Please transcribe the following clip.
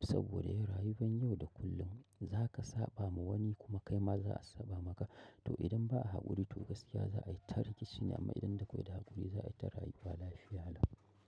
saboda ya rayuwan yau da kullum. Za ka saɓa ma wanibkuma kai ma za a saɓa maka. To idan ba a haƙuri to gaskiya za a yi ta rikici ne amma idan da kwaida haƙuri za a yi ta rayuwa lafiya lau.